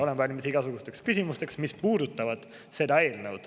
Olen valmis igasugusteks küsimusteks, mis puudutavad seda eelnõu.